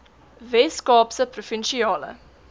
wes kaapse provinsiale